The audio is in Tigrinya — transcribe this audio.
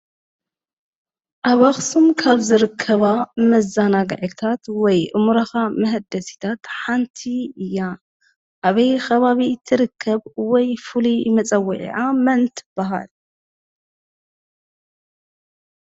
ኣብ ኣክሱም ካብ ዝርከባ መዘናግዕታት ወይ ኣእምሮካ መሐደሲታት ሓንቲ እያ። ኣበይ ከባቢ ትርከብ? ወይ ፍሉይ መፀውዒዓ መን ትብሃል?